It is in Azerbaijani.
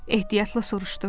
Ehtiyatla soruşdu.